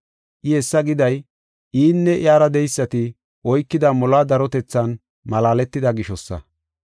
I hessa giday, inne iyara de7eysati oykida moluwa darotethan malaaletida gishosa.